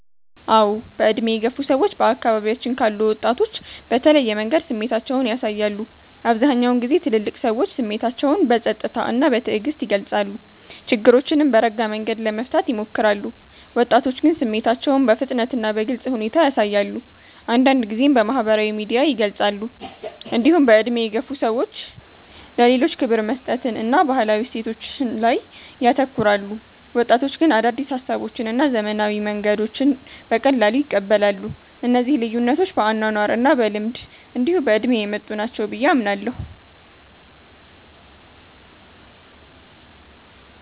አዎ። በዕድሜ የገፉ ሰዎች በአካባቢያችን ካሉ ወጣቶች በተለየ መንገድ ስሜታቸውን ያሳያሉ። አብዛኛውን ጊዜ ትልልቅ ሰዎች ስሜታቸውን በጸጥታ እና በትዕግስት ይገልጻሉ፣ ችግሮችንም በረጋ መንገድ ለመፍታት ይሞክራሉ። ወጣቶች ግን ስሜታቸውን በፍጥነት እና በግልጽ ሁኔታ ያሳያሉ፣ አንዳንድ ጊዜም በማህበራዊ ሚዲያ ይገልጻሉ። እንዲሁም በዕድሜ የገፉ ሰዎች ለሌሎች ክብር መስጠትን እና ባህላዊ እሴቶችን ላይ ያተኩራሉ። ወጣቶች ግን አዳዲስ ሀሳቦችን እና ዘመናዊ መንገዶችን በቀላሉ ይቀበላሉ። እነዚህ ልዩነቶች በአኗኗር እና በልምድ እንዲሁ በእድሜ የመጡ ናቸው ብየ አምናለሁ።